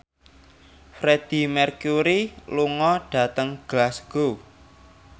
Freedie Mercury lunga dhateng Glasgow